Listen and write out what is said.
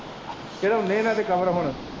ਚੜਾਉਣੇ ਹੈ ਉਹਨਾਂ ਤੇ cover ਹੁਣ।